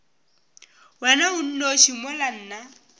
wena o nnoši mola nna